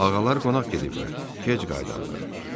Ağalar qonaq gediblər, gec qayıdarlar.